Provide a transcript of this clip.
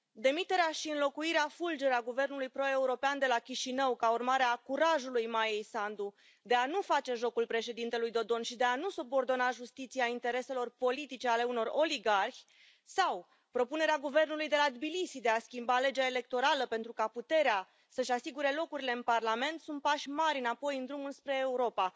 Demiterea și înlocuirea fulger a guvernului pro european de la Chișinău ca urmare a curajului Maiei Sandu de a nu face jocul președintelui Dodon și de a nu subordona justiția intereselor politice ale unor oligarhi sau propunerea guvernului de la Tbilisi de a schimba legea electorală pentru ca puterea să își asigure locurile în Parlament sunt pași mari înapoi în drumul spre Europa.